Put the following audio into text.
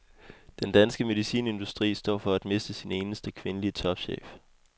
Den danske medicinindustri står for at miste sin eneste kvindelige topchef.